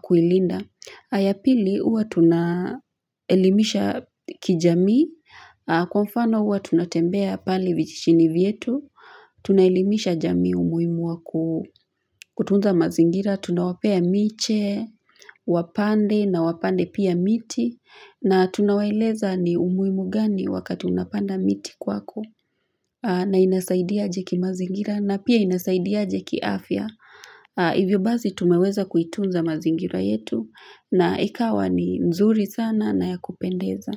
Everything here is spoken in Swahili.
kuilinda. Ayapili uwa tunaelimisha kijamii. Kwa mfano huwa tunatembea pale vijichini vietu. Tunaelimisha jami umuhimu wa kutunza mazingira. Tunawapea miche, wapande na wapande pia miti. Na tunawaeleza ni umuhimu gani wakati unapanda miti kwako. Na inasaidia aje kimazingira na pia inasaidia aje kiafya. Hivyo basi tumeweza kuitunza mazingira yetu na ikawa ni mzuri sana na ya kupendeza.